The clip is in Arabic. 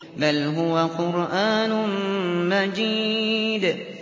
بَلْ هُوَ قُرْآنٌ مَّجِيدٌ